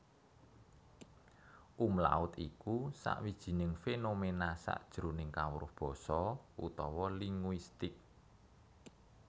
Umlaut iku sawijining fénoména sajroning kawruh basa utawa linguistik